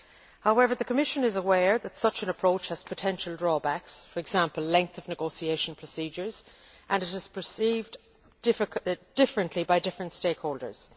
However, the Commission is aware that such an approach has potential drawbacks, for example, length of negotiation procedures, and it is perceived differently by different stakeholders.